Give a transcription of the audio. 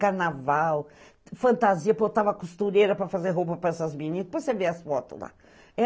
Carnaval, fantasia, botava costureira para fazer roupa para essas meninas, para você ver as fotos lá.